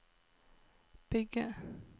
bygge